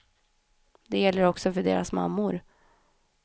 Det gäller också för deras mammor.